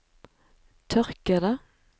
tørkede